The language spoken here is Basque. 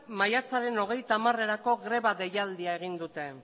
maiatzaren hogeita hamarerako greba deialdia egin dute